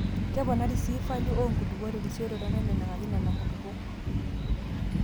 Keponari sii falio oo nkulupuok terisioroto nnaineneng'aki nenakulupuok.